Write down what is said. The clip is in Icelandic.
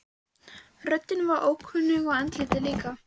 Röddin var ókunn og andlitið líka.